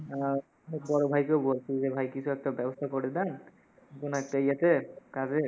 আহ তো বড় ভাইকেও বলসি যে ভাই কিছু একটা ব্যবস্থা করে দেন, কোনো একটা ইয়েতে, কাজে।